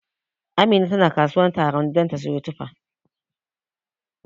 Amina tana kasuwar Tarauni ta don ta siyo tufa.